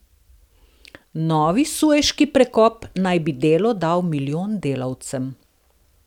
Novi Sueški prekop naj bi delo dal milijon delavcem.